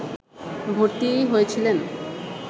ভর্তি হয়েছিলেন